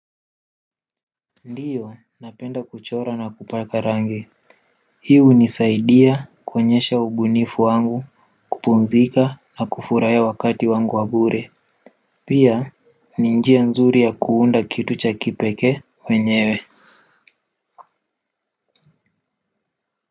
Ndiyo napenda kuchora na kupaka rangi hii hunisaidia kuonyesha ubunifu wangu kupumzika na kufurahia wakati wangu wa bure pia ni njia nzuri ya kuunda kitu cha kipeke mwenyewe.